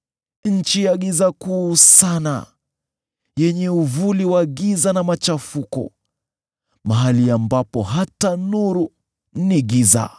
nchi ya giza kuu sana, yenye uvuli wa giza na machafuko, mahali ambapo hata nuru ni giza.”